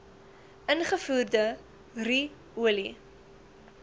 ingevoerde ru olie